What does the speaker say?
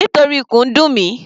Nítorí ikùn ń dùn mi.